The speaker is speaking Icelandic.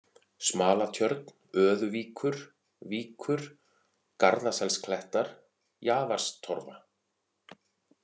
Smalatjörn, Öðuvíkur (Víkur), Garðaselsklettar, Jaðarstorfa